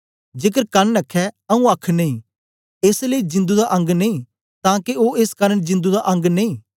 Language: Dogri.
जेकर कन आखे आऊँ आख नेई एस लेई जिंदु दा अंग नेई तां के ओ एस कारन जिंदु दा अंग नेई